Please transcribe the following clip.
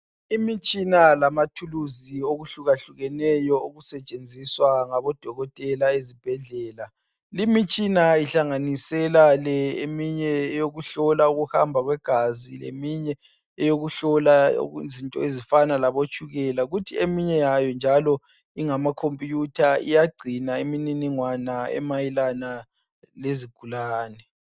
Imitshina lamathuluzi okuhlukahlukeneyo okusetshenziswa ngabodokotela ezibhedlela. Limitshina ihlanganisela le eminye eyokuhlola ukuhamba kwegazi leminye eyokuhlola okuzinto ezifana labotshukela kuthi eminye yayo njalo ingamakhimpiyutha iyagcina imininingwana emayelana lezigulane.